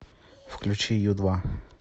включи ю два